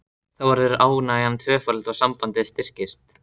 Þá verður ánægjan tvöföld og sambandið styrkist.